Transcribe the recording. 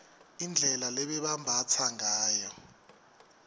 indlela lebebambatsa ngayo